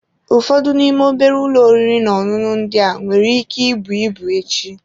Ụfọdụ n'ime obere ụlọ oriri na ọṅụṅụ ndị a nwere ike ibu ibu echi.